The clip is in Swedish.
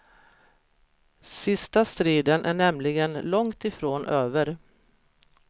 Sista striden är nämligen långt ifrån över.